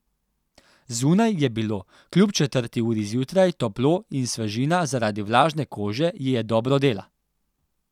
Zunaj je bilo, kljub četrti uri zjutraj, toplo in svežina zaradi vlažne kože ji je dobro dela.